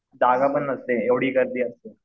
जागा पण नसते एवढी गर्दी असते.